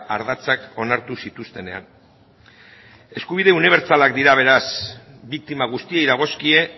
ardatzak onartu zituztenean eskubide unibertsalak dira beraz biktima guztiei dagozkie